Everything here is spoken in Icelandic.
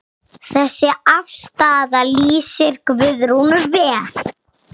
Þessi afstaða lýsir Guðrúnu vel.